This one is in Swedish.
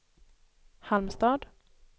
Halmstad